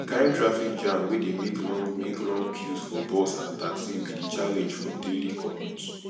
di kain traffic jam wey dey make long make long queues for bus and taxi be di challenge for daily commute